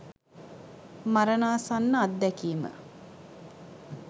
මරණාසන්න අත්දැකීම